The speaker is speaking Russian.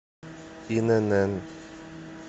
инн